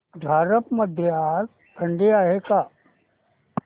झारप मध्ये आज थंडी आहे का